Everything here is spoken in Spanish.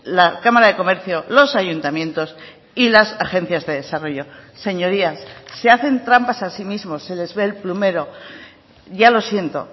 la cámara de comercio los ayuntamientos y las agencias de desarrollo señorías se hacen trampas a sí mismos se les ve el plumero ya lo siento